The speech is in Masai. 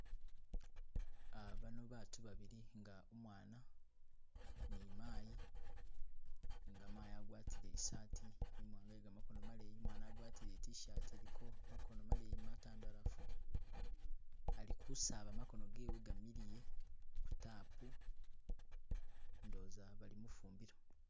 Bano bantu babili, nga umwana ni mayi, nenga mayi agwatile isati imwanga ye gamakono maleyi, umwana agwatile itishati iliko makono maleyi matandalafu, ali kusaaba makono gewe gamiliye, ku tapu, indowoza bali mufumbilo